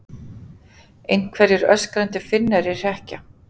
Einhverjir öskrandi Finnar í hrekkja